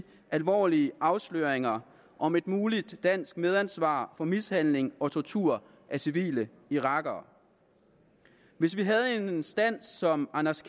alvorlige afsløringer om et muligt dansk medansvar for mishandling og tortur af civile irakere hvis vi havde en instans som anders